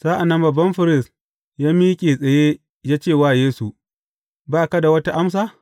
Sa’an nan babban firist ya miƙe tsaye, ya ce wa Yesu, Ba ka da wata amsa?